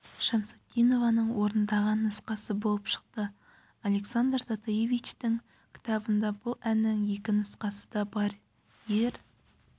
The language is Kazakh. шамсутдинованың орындаған нұсқасы болып шықты александр затаевичтің кітабында бұл әннің екі нұсқасы да бар ер